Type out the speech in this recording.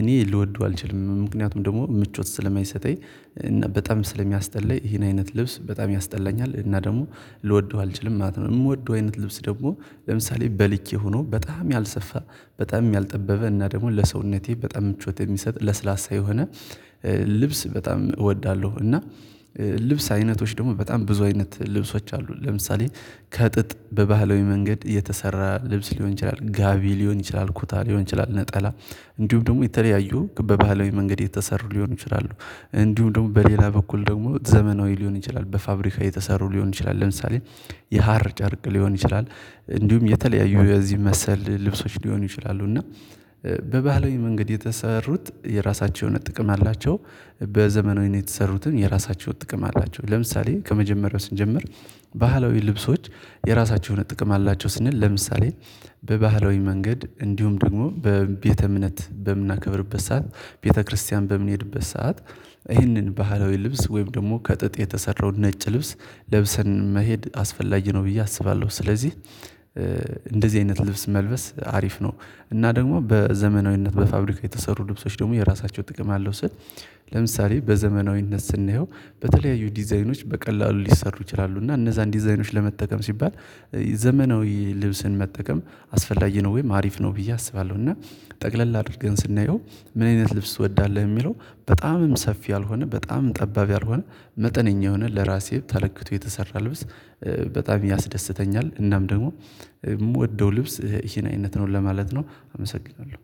እኔ ልወደው አልችልም ምክንያቱም ደግሞ ምቾት ስለማይሰጠኝ እና በጣም ስለሚያስጠላኝ ይሄን አይነት ልብስ በጣም ያስጠላኛል እና ደግሞ ልወደው አልችልም ማለት ነው። ምወደው አይነት ልብስ ደግሞ ለምሳሌ በልኬ ሆኖ በጣም ያልሰፋ በጣም ያልጠበበ እና ደግሞ ለሰውነቴ በጣም ምቾት የሚሰጥ ለስላሳ የሆነ ልብስ በጣም እወዳለሁ። እና ልብስ አይነቶች ደግሞ በጣም ብዙ አይነት ልብሶች አሉ። ለምሳሌ ከጥጥ በባህላዊ መንገድ የተሰራ ልብስ ሊሆን ይችላል ጋቢ ሊሆን ይችላል ኩታ ሊሆን ይችላል ነጠላ እንዲሁም ደግሞ የተለያዩ በባህላዊ መንገድ የተሰሩ ሊሆን ይችላሉ። እንዲሁ ደግሞ በሌላ በኩል ደግሞ ዘመናዊ ሊሆን ይችላል በፋብሪካ የተሰሩ ሊሆን ይችላል ለምሳሌ የሀር ጨርቅ ሊሆን ይችላል እንዲሁም የተለያዩ የዚህ መሰል ልብሶች ሊሆኑ ይችላሉ። እና በባህላዊ መንገድ የተሰሩት የራሳቸው ጥቅም አላቸው በዘመናዊነት የተሰሩትም የራሳቸው ጥቅም አላቸው። ለምሳሌ ከመጀመሪያው ስንጀምር ባህላዊ ልብሶች የራሳቸው የሆነ ጥቅም አላቸው ስንል ለምሳሌ በባህላዊ መንገድ እንዲሁም ደግሞ በቤተ እምነት በምናከብርበት ሰዓት ቤተክርስቲያን በምንሄድበት ሰዓት ይህንን ባህላዊ ልብስ ወይም ደግሞ ከጥጥ የተሰራው ነጭ ልብስ ለብሰን መሄድ አስፈላጊ ነው ብዬ አስባለሁ። ስለዚህ እንደዚህ አይነት ልብስ መልበስ አሪፍ ነው። እና ደግሞ በዘመናዊነት በፋብሪካ የተሰሩ ልብሶች ደግሞ የራሳቸው ጥቅም አለው ስል። ለምሳሌ በዘመናዊነት ስናየው በተለያዩ ዲዛይኖች በቀላሉ ሊሰሩ ይችላሉ እና እነዛን ዲዛይኖች ለመጠቀም ሲባል ዘመናዊ ልብስን መጠቀም አስፈላጊ ነው ወይም አሪፍ ነው ብዬ አስባለሁ። እና ጠቅለል አድርገን ስናየው ምን አይነት ልብስ እወዳለሁ የሚለው በጣምም ሰፊ ያልሆነ በጣምም ጠባብ ያልሆነ መጠነኛ የሆነ ለራሴ ተለክቶ የተሰራ ልብስ በጣም ያስደስተኛል። እናም ደግሞ ምወደው ልብስ ይሄን አይነት ነው ለማለት ነው። አመሰግናለሁ